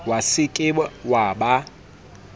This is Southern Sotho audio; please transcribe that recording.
wa se ke wa ba